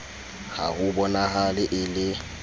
ha ho bonahale e le